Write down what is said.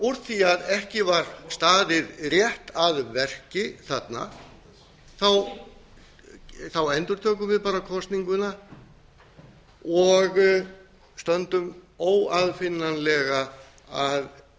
úr því ekki var staðið rétt að verki þarna endurtökum við bara kosninguna og stöndum óaðfinnanlega að